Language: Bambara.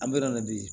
An bɛ na bi